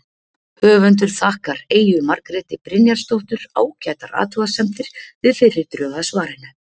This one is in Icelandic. höfundur þakkar eyju margréti brynjarsdóttur ágætar athugasemdir við fyrri drög að svarinu